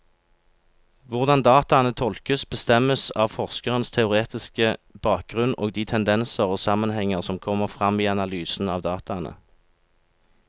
Hvordan dataene tolkes, bestemmes av forskerens teoretiske bakgrunnen og de tendenser og sammenhenger som kommer frem i analysen av dataene.